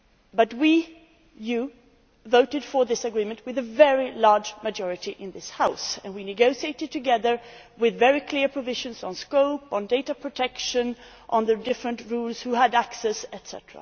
But we you voted for this agreement with a very large majority in this House, and we negotiated together with very clear provisions on scope, data protection and the different rules who had access, etc.